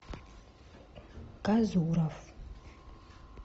казуров